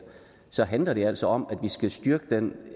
så handler det altså om at vi skal styrke den